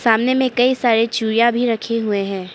सामने में कई सारे चूइया भी रखे हुए हैं।